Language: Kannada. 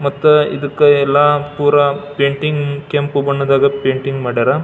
ಮತ್ತೆ ಇದಕ್ ಎಲ್ಲಾ ಪುರಾ ಪೇಂಟಿಂಗ್ ಕೆಂಪು ಬಣ್ಣದ್ ಪೇಂಟಿಂಗ್ ಮಾಡರ್.